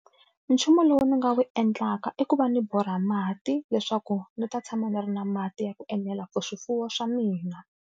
Nchumu lowu ni nga wu endlaka i ku va ndzi borha mati leswaku ndzi ta tshama ni ri na mati ya ku enela for swifuwo swa mina.